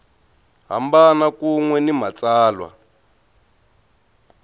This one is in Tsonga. hambana kun we ni matsalwa